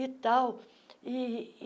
E tal. ih ih